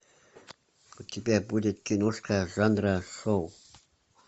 у тебя будет киношка жанра шоу